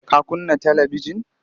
Ka kunna talibijin?